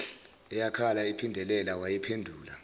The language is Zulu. eyakhala iphindelela wayiphendula